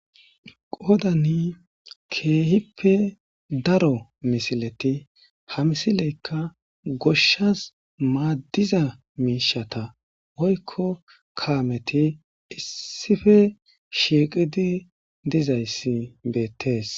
Qodani Kehipe daro misileti ha misileti goshas madiza mishatas Woyko Kameti issipe Shiqidi Dizaysi bettes